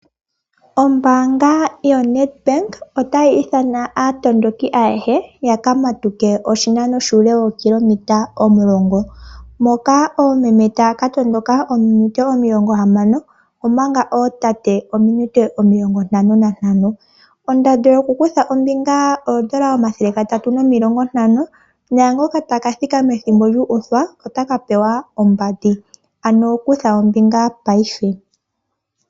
Ombaanga yaNedbank oatayi ithana aatondoki ayehe ya ka matuke oshinano shuule wookilometa omulongo moka oomeme taya ka tondoka ominute omilongo hamano, omanga ootate taya ka tondoka ominute omilongo ntano nantano. Ondando yoku kutha ombinga oondola omathele gatatu nomilongo ntano, naangoka taka thika methimbo lyuuthwa oataka pewa ombandi, ano kutha ombinga paife.